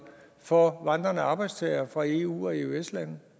for vandrende arbejdstagere fra eu og eøs lande